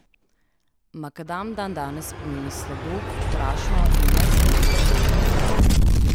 Makadam dandanes pomeni slabo, prašno in neasfaltirano pot.